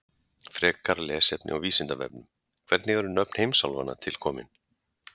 Frekara lesefni á Vísindavefnum: Hvernig eru nöfn heimsálfanna til komin?